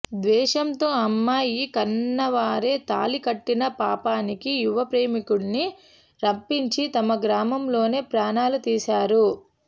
ద్వేషంతో అమ్మాయి కన్నవారే తాళికట్టిన పాపానికి యువ ప్రేమికుడిని రప్పించి తమ గ్రామంలోనే ప్రాణాలు తీశారు